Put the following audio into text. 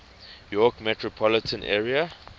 york metropolitan area